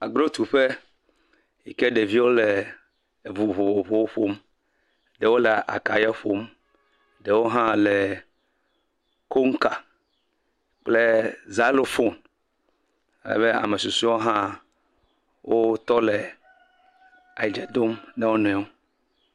Agrotuƒe yi ke ɖeviwo le ŋu vovovowo ƒom, ɖewo le akaya ƒom, ɖewo hã le koŋka kple zilofoni ale be ame susuewo hã wotɔ le dze ɖom na wonuiwo.